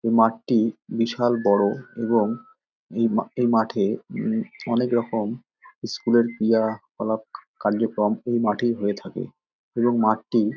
এই মাঠটি বিশাল বড় এবং এই মাঠে উম অনেক রকম স্কুল -এর ক্রিয়াকলাপ কার্যক্রম এই মাঠেই হয়ে থাকে এবং মাঠটি --